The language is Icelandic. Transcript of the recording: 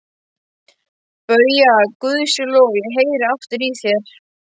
BAUJA: Guði sé lof, ég heyri aftur í þér!